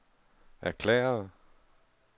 erklærede